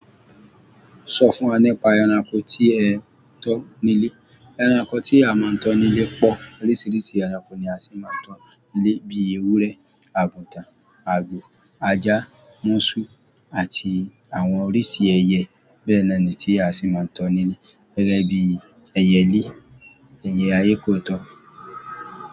Sọ fún wa nípa ẹranko tí ẹ tán nílé. Ẹranko tí a máa ń tán nílé pọ̀. Oríṣiríṣi ẹranko ni a sì máa ń tán nílé bíi ewúrẹ́, àgùtàn, àgbò, ajá, múṣú àti àwọn oríṣi ẹyẹ bẹ́ẹ̀ nọ ni tí a sì máa ń tán nílé. Gẹ́gẹ́ bí ẹyẹlé, ẹyẹ ayé kó tọ.